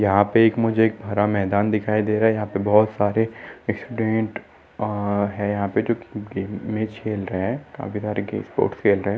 यहाँ पे एक मुझे एक भरा मैदान दिखाई दे रहा है यहाँ पे बहुत सारे स्टुडन्ट अ है यहाँ पे जो की गेम मैच खेल रहे है काफी सारे गेम स्पोर्ट्स खेल रहे है।